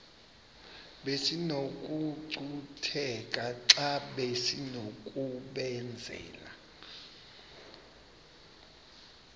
besinokucutheka xa besinokubenzela